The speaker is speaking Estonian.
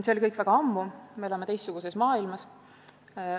See oli kõik väga ammu, me elame teistsuguses maailmas.